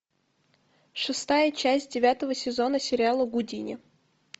шестая часть девятого сезона сериала гудини